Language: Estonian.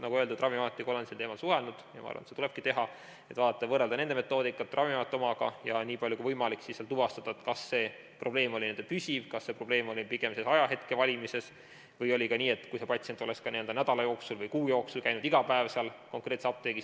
Nagu öeldud, Ravimiametiga olen sel teemal suhelnud, ja ma arvan, seda tulebki teha, vaadata ja võrrelda metoodikat Ravimiameti omaga ja nii palju kui võimalik tuvastada, kas see probleem oli püsiv, kas see probleem oli pigem ajahetke valimises või oli nii, et kui patsient oleks nädala või kuu jooksul käinud iga päev konkreetses apteegis.